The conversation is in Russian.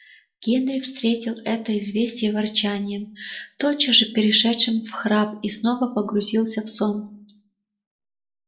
генри встретил это известие ворчанием тотчас же перешедшим в храп и снова погрузился в сон